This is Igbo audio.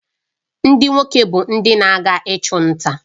Ndị nwoke bụ ndị na-aga ịchụ nta